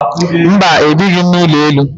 Mba, ebighị m n'ụlọ elu